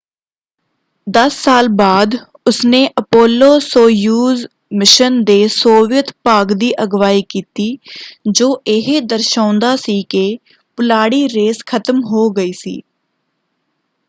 ਦਸ ਸਾਲ ਬਾਅਦ ਉਸਨੇ ਅਪੋਲੋ-ਸੋਯੁਜ਼ ਮਿਸ਼ਨ ਦੇ ਸੋਵੀਅਤ ਭਾਗ ਦੀ ਅਗਵਾਈ ਕੀਤੀ ਜੋ ਇਹ ਦਰਸਾਉਂਦਾ ਸੀ ਕਿ ਪੁਲਾੜੀ ਰੇਸ ਖ਼ਤਮ ਹੋ ਗਈ ਸੀ।